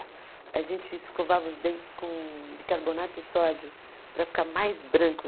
A gente escovava os dentes com bicarbonato de sódio para ficar mais branco.